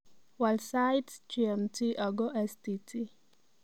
Waal sait g.m.t ago s.t.t